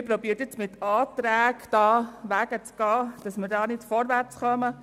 Nun versucht man, mit Anträgen Wege zu gehen, damit man nicht vorwärts kommt.